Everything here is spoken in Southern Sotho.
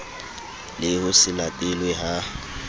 le ho se latelwe ha